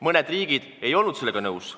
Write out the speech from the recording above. Mõned riigid ei olnud nõus.